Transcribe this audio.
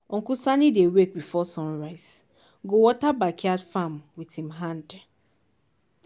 uncle sani dey wake before sun rise go water backyard farm with him hand